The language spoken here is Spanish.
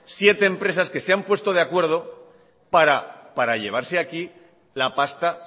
siete empresas que se han puesto de acuerdo para llevarse aquí la pasta